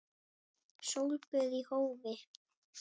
Sólböð í hófi.